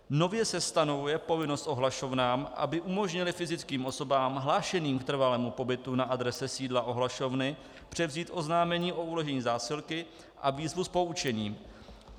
Nově se stanovuje povinnost ohlašovnám, aby umožnily fyzickým osobám hlášeným k trvalému pobytu na adrese sídla ohlašovny převzít oznámení o uložení zásilky a výzvu s poučením.